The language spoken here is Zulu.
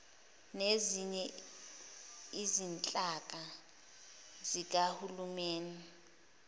nezinye izinhlaka zikahulumeni